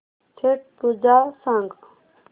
छट पूजा सांग